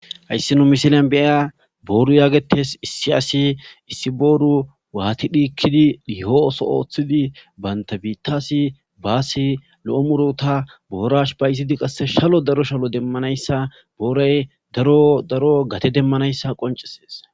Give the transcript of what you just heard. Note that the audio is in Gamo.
hayssi nu misilan bea booru yaagetes issi asi issi booru waati dhiikkidi dihooso ooththidi baynta biittasi baasi lo7o murota boorash payzidi qasse shalo daro shalo demmanayssa booray daro daro gate demmanayssa qoncesees